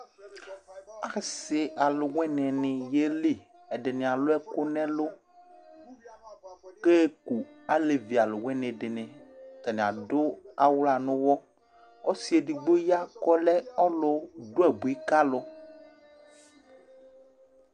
Asɩ alʋwɩnɩnɩ yeli Ɛdɩnɩ alʋ ɛkʋ nʋ ɛlʋ kʋ aɣa eku alevi alʋwɩnɩ dɩnɩ Atanɩ adʋ awla nʋ ʋɣɔ Ɔsɩ edigbo ya kʋ ɔlɛ ɔlʋdʋ abui ka alʋ